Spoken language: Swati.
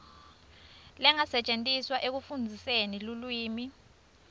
lengasetjentiswa ekufundziseni lulwimi